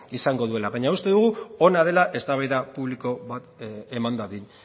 izango duela baina uste dugu hona dela eztabaida publiko bat eman dadin